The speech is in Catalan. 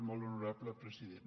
molt honorable president